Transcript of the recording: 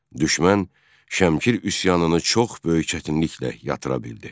Düşmən Şəmkir üsyanını çox böyük çətinliklə yatıra bildi.